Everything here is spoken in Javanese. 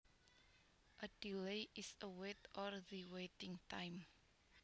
A delay is a wait or the waiting time